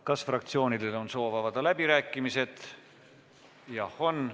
Kas fraktsioonidel on soov avada läbirääkimised?